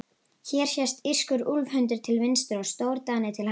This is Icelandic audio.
Hér sést írskur úlfhundur til vinstri og stórdani til hægri.